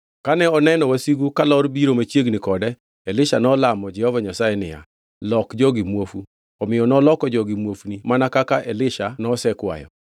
Kane oneno wasigu kalor biro machiegni kode, Elisha nolamo Jehova Nyasaye niya, “Lok jogi muofu.” Omiyo noloko jogi muofni mana kaka Elisha nosekwayo.